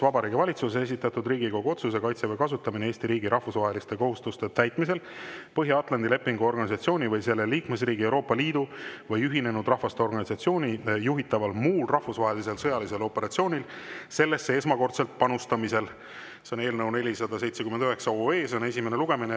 Vabariigi Valitsuse esitatud Riigikogu otsuse "Kaitseväe kasutamine Eesti riigi rahvusvaheliste kohustuste täitmisel Põhja-Atlandi Lepingu Organisatsiooni või selle liikmesriigi, Euroopa Liidu või Ühinenud Rahvaste Organisatsiooni juhitaval muul rahvusvahelisel sõjalisel operatsioonil sellesse esmakordsel panustamisel", see on eelnõu 479 esimene lugemine.